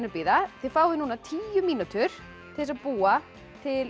bíða þið fáið núna tíu mínútur til þess að búa til